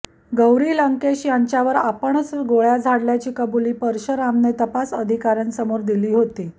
गौरी लंकेश यांच्यावर आपणच गोळय़ा झाडल्याची कबुली परशरामने तपास अधिकाऱयांसमोर दिली होती